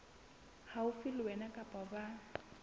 haufi le wena kapa ba